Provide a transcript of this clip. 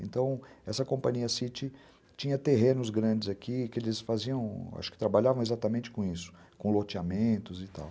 Então, essa companhia City tinha terrenos grandes aqui que eles faziam, acho que trabalhavam exatamente com isso, com loteamentos e tal.